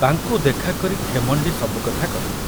ତାଙ୍କୁ ଦେଖା କରି ଖେମଣ୍ଡି ସବୁ କଥା କହିଲେ।